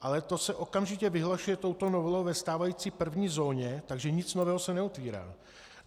Ale to se okamžitě vyhlašuje touto novelou ve stávající první zóně, takže nic nového se neotvírá.